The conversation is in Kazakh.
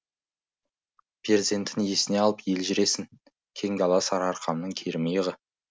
перзентін есіне алып елжіресін кең дала сарыарқамның кермиығы